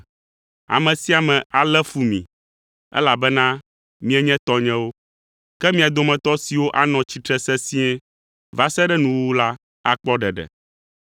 Ame sia ame alé fu mi, elabena mienye tɔnyewo. Ke mia dometɔ siwo anɔ tsitre sesĩe va se ɖe nuwuwu la akpɔ ɖeɖe.